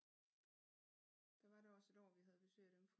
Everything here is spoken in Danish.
Der var da også et år vi havde besøg af dem